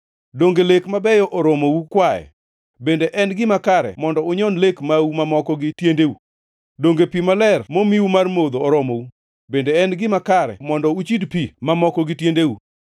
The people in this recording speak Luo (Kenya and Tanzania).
Donge lek mabeyo oromou kwaye? Bende en gima kare mondo unyon lek mau mamoko gi tiendeu? Donge pi maler momiu mar modho oromou? Bende en gima kare mondo uchid pi mamoko gi tiendeu?